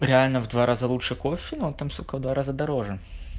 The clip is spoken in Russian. реально в два раза лучше кофе но там сука в два раза дороже